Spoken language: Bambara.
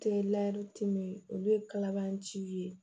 Tɛ olu ye kalabanci ye